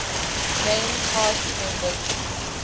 main cast members